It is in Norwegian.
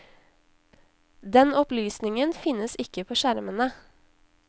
Den opplysningen finnes ikke på skjermene.